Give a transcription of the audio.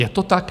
Je to tak?